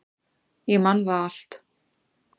Ég man það allt.